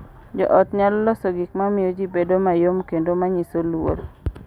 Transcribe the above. Jo ot nyalo loso gik ma miyo ji bedo mayom kendo ma nyiso luor